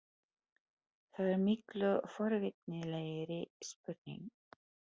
Það er miklu forvitnilegri spurning.